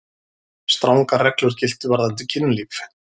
Strangar reglur giltu varðandi kynlíf.